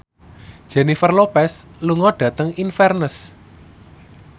Jennifer Lopez lunga dhateng Inverness